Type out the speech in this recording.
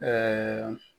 Ɛɛ